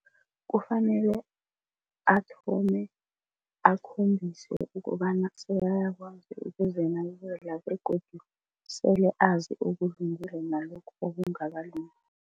Kufanele athome akhombise ukobana sekayakwazi ukuzinakekela begodu sele azi okulungileko nalokhu okungakalungi.